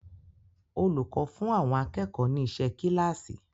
Olùkọ́ fún àwọn akẹ́kọ̀ọ́ ni iṣẹ́ kíláàsì.